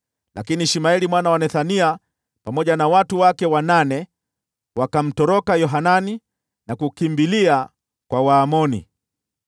Lakini Ishmaeli mwana wa Nethania pamoja na watu wake wanane wakamtoroka Yohanani na kukimbilia kwa Waamoni.